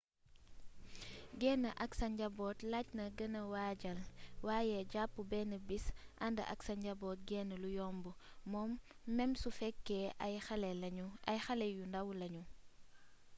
génn ak sa njaboot laajna gëna waajal waaye jàpp benn bis ànd ak sa njaboot génn lu yomb mem su fekkee ay xale yu ndaw lañu